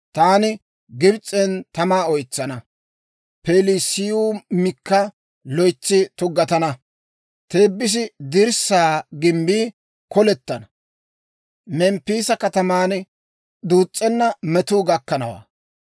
Taani Gibs'en tamaa oytsana; Pelusiyaamikka loytsi tuggatana; Teebisa dirssaa gimbbii kolettana; Memppiisa kataman duus's'enna metuu gakkanawaa.